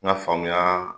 N ka faamuya